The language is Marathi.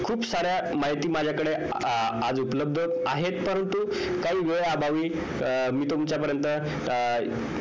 खूप साऱ्या माहिती माझ्या कडे आज उपलब्द आहेत परंतु काही वेळ अभावी मी तुमच्या पर्यंत